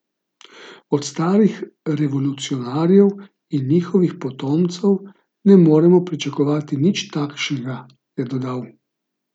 Od starih revolucionarjev in njihovih potomcev ne moremo pričakovati nič takšnega, je dodal.